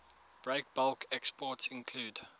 breakbulk exports include